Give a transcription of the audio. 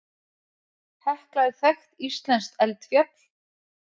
Hekla er þekkt íslenskt eldfjall.